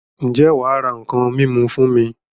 Ǹjẹ́ wà á ra nǹkan mímu fún mi?